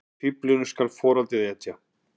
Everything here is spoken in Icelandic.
Fíflinu skal á foraðið etja.